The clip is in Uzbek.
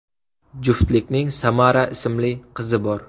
Juftlikning Samara ismli qizi bor.